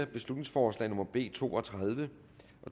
beslutningsforslag nummer b to og tredive